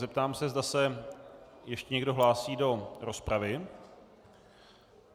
Zeptám se, zda se ještě někdo hlásí do rozpravy.